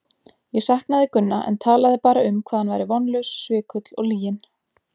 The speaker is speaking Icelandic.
Ég saknaði Gunna en talaði bara um hvað hann væri vonlaus, svikull og lyginn.